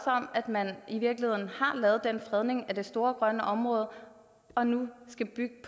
at man i virkeligheden har lavet den fredning af det store grønne område og nu skal bygge